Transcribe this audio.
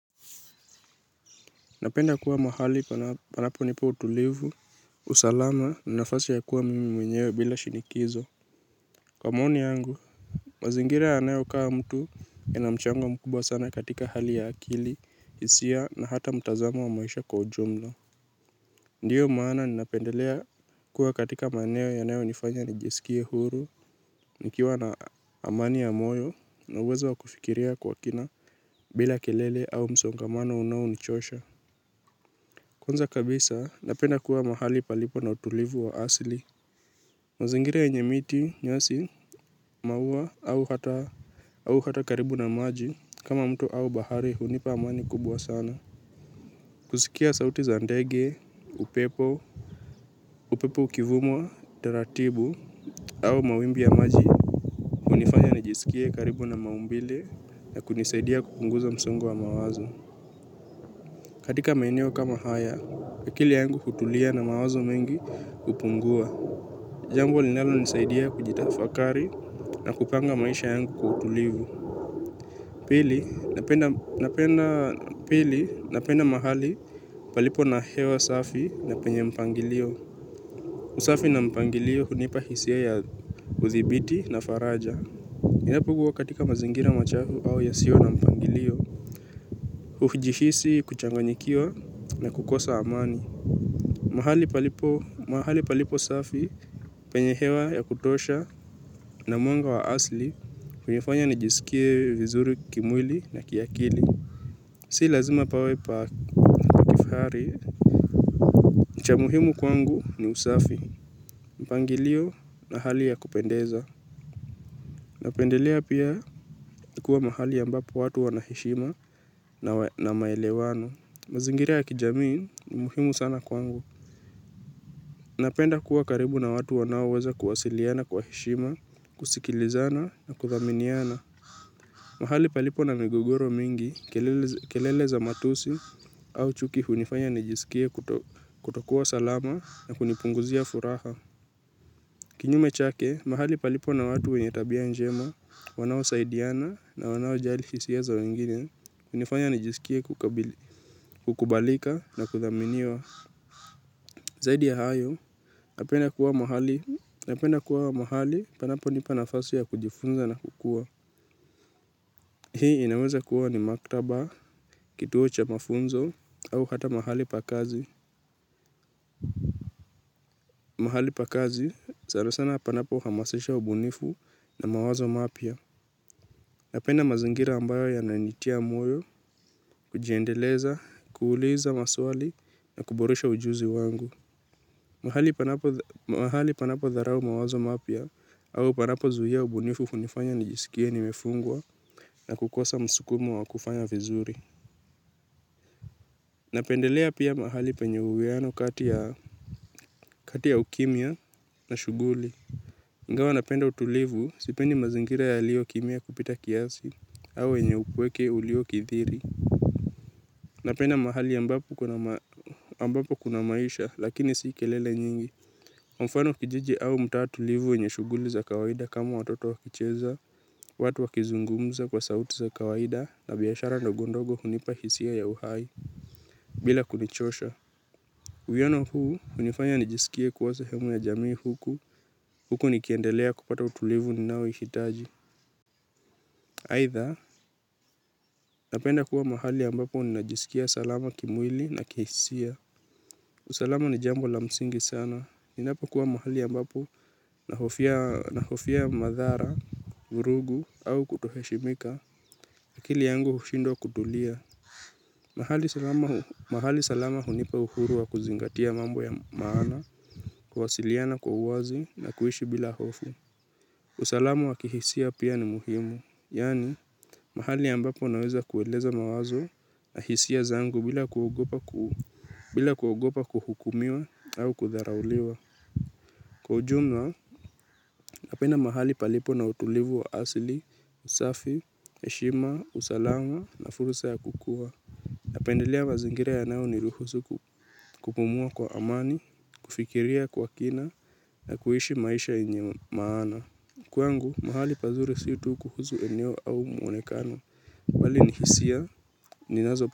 Napenda kuwa mahali panapo nipa utulivu, usalama, nanafasi ya kuwa mimi mwenye bila shinikizo. Kwa maoni yangu, mazingira yanayo kaa mtu inamchango mkubwa sana katika hali ya akili, hisia, na hata mutazamo wa maisha kwa ujumla. Ndiyo maana ninapendelea kuwa katika maeneo yanayo nifanya nijisikie huru, nikiwa na amani ya moyo, na uwezo wa kufikiria kwa kina bila kelele au msongamano unao nichosha. Kwanza kabisa napenda kuwa mahali palipo na utulivu wa asili. Mazingiri yenye miti, nyasi, mauwa au hata karibu na maji kama mto au bahari hunipa amani kubwa sana. Kusikia sauti za ndege, upepo, upepo ukivumwa, taratibu au mawimbi ya maji hunifanya najisikie karibu na maumbile ya kunisaidia kupunguza msongo wa mawazo. Katika maeneo kama haya, akili yangu hutulia na mawazo mengi hupungua. Jambo linalo nisaidia kujitafakari na kupanga maisha yangu kwa utulivu. Pili napenda mahali palipo na hewa safi na penye mpangilio. Usafi na mpangilio hunipa hisia ya uzibiti na faraja. Ninapokuwa katika mazingira machafu au yasiyo na mpangilio hujihisi kuchanganyikiwa na kukosa amani. Mahali palipo, mahali palipo safi, penye hewa ya kutosha na mwanga wa asli, hunifanya nijisikie vizuri kimwili na kiakili. Si lazima pawe pa kifahari, cha muhimu kwangu ni usafi, mpangilio na hali ya kupendeza. Napendelea pia ikuwe mahali ambapo watu wanaheshima na maelewano. Mazingira ya kijamii ni muhimu sana kwangu. Napenda kuwa karibu na watu wanao weza kuwasiliana kwa heshima, kusikilizana na kudhaminiana. Mahali palipo na migogoro mingi, kelele za matusi au chuki hunifanya nijisikie kutokuwa salama na kunipunguzia furaha. Kinyume chake, mahali palipo na watu wenye tabia njema, wanao saidiana na wanao jali hisia za wengine, hunifanya nijisikie kukubalika na kudhaminiwa. Zaidi ya hayo, napenda kuwa mahali panapo nipanafasi ya kujifunza na kukua. Hii inaweza kuwa ni maktaba, kituo cha mafunzo, au hata mahali pakazi. Mahali pakazi, sana sana panapo hamasisha ubunifu na mawazo mapya. Napenda mazingira ambayo ya nanitia moyo, kujiendeleza, kuuliza maswali, na kuboresha ujuzi wangu. Mahali panapo dharau mawazo mapya au panapo zuia ubunifu hunifanya nijisikie nimefungwa na kukosa msukumo wa kufanya vizuri. Napendelea pia mahali penye uwiano kati ya ukimya na shughuli. Ingawa napenda utulivu sipendi mazingira yaliyo kimya kupita kiasi au yenye upweke ulio kithiri. Napenda mahali ambapo kuna maisha lakini si kelele nyingi. Mfano kijiji au mtaa tulivu yenye shughuli za kawaida kama watoto wakicheza, watu wakizungumza kwa sauti za kawaida na biashara ndogondogo hunipa hisia ya uhai bila kunichosha. Uwiano huu, hunifanya nijisikie kuwa sehemu ya jamii huku, huku nikiendelea kupata utulivu ninaoushitaji. Aidha, napenda kuwa mahali ambapo nijisikia salama kimwili na kihisia. Usalama ni jambo la msingi sana. Ninapo kuwa mahali ambapo na hofia madhara, vurugu au kutoheshimika. Akili yangu hushindwa kutulia. Mahali salama hunipa uhuru wa kuzingatia mambo ya maana, kuwasiliana kwa uwazi na kuishi bila hofu. Usalama wa kihisia pia ni muhimu. Yani, mahali ambapo naweza kueleza mawazo na hisia zangu bila kuogopa kuhukumiwa au kudharauliwa. Kwa ujumla, napenda mahali palipo na utulivu wa asili, usafi, heshima, usalama na fursa ya kukua. Napendelea mazingira yanayo ni ruhusu ku, kupumua kwa amani, kufikiria kwa kina na kuishi maisha yenye maana kwangu mahali pazuri si tu kuhusu eneo au muonekano bali ni hisia ninazo.